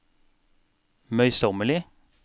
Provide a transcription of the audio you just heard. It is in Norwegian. møysommelig